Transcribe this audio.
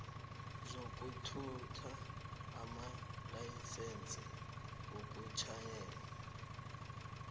zokuthutha amalayisense wokutjhayela